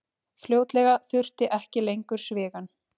Fljótlega þurfti ekki lengur svigann.